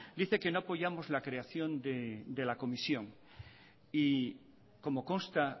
dice que no apoyamos la creación del comisión y como consta